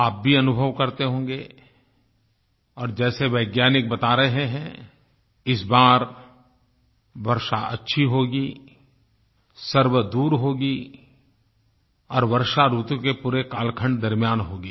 आप भी अनुभव करते होंगे और जैसे वैज्ञानिक बता रहे हैं इस बार वर्षा अच्छी होगी सर्वदूर होगी और वर्षा ऋतु के पूरे कालखण्ड दरम्यान होगी